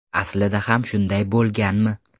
Aslida ham shunday bo‘lganmi?